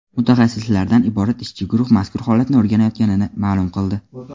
mutaxassislardan iborat ishchi guruh mazkur holatni o‘rganayotganini ma’lum qildi.